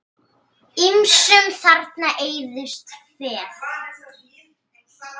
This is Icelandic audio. Ýmsum þarna eyðist féð.